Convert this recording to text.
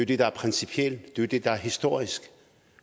det der er principielt det er det der er historisk